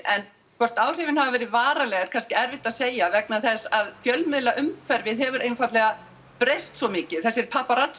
en hvort áhrifin hafi verið varanleg er kannski erfitt að segja vegna þess að fjölmiðlaumhverfið hefur einfaldlega breyst svo mikið þessir